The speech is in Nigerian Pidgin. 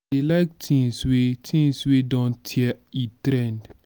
i dey like things wey things wey e don tey e trend